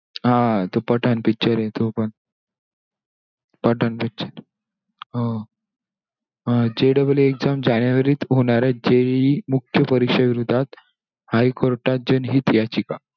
हा तो पठाण picture हे तो पण पठाण picture हा JEEexam जानेवारी मध्ये होणार आहे JEE मुख्य परीक्षे विरोधात high court त जनहित याचिका.